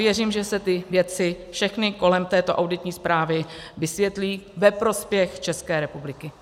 Věřím, že se ty věci všechny kolem této auditní zprávy vysvětlí ve prospěch České republiky.